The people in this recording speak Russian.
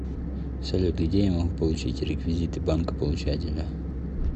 салют где я могу получить реквизиты банка получателя